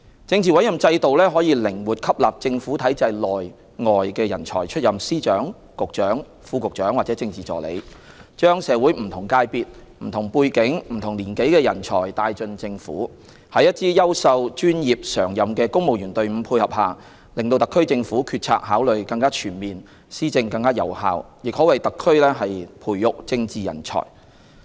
政治委任制度可以靈活吸納政府體制內、外的人才出任司長、局長、副局長或政治助理，將社會不同界別、不同背景、不同年紀的人才帶進政府，在一支優秀、專業、常任的公務員隊伍配合下，令特區政府決策考慮更全面、施政更有效，亦可為特區培育政治人才。